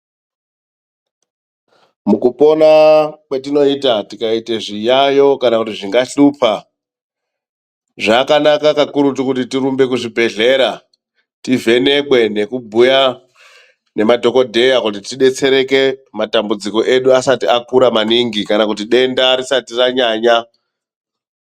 Mukupona kwetinoita tikaite zviyaiyo kana kuti zvingahlupa, zvakanaka kakurutu kuti tirumbe kuzvibhehlera .Tivhenekwe nekubhuya nemadhokodheya kuti tibetsereke matambudziko edu asati akura maningi kana kuti denda risati ranyanya.